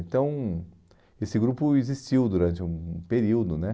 Então, esse grupo existiu durante um um período, né?